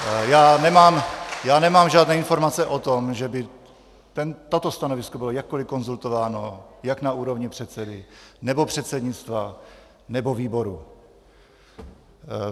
Já nemám žádné informace o tom, že by toto stanovisko bylo jakkoli konzultováno jak na úrovni předsedy, nebo předsednictva, nebo výboru.